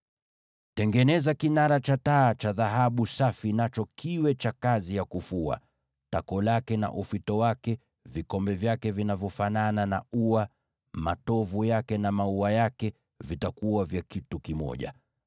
“Tengeneza kinara cha taa cha dhahabu safi iliyofuliwa vizuri katika kitako chake na ufito wake; vikombe vyake vinavyofanana na ua, matovu yake na maua yake viwe kitu kimoja.